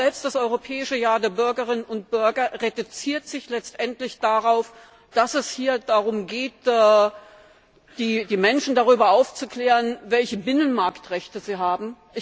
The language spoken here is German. Auch das Europäische Jahr der Bürgerinnen und Bürger reduziert sich letztlich darauf, dass es hier darum geht, die Menschen darüber aufzuklären, welche Binnenmarktrechte sie haben.